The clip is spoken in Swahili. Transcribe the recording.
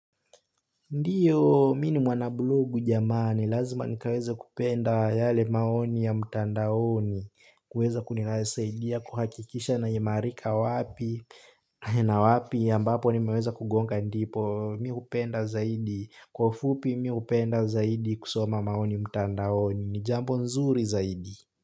Ndio, mi ni mwanablogu jamani, lazima nikaweze kupenda yale maoni ya mtandaoni, kuweza kunisaidia, kuhakikisha naimarika wapi, na wapi ambapo nimeweza kugonga ndipo, mi hupenda zaidi, kwa ufupi mi hupenda zaidi kusoma maoni mtandaoni, ni jambo nzuri zaidi.